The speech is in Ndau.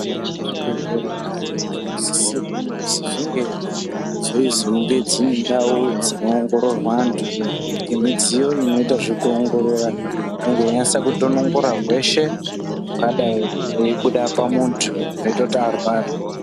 Zvibhedhlera zveshe zvinosisirwa kuti zvinge zveizonge dzine ndau dzinoongororwa antu nemidziyo inoita zvekuongorora. Inenge yeinasa kutonongora hweshe hungadai huibeda pamuntu hunoita kuti arware.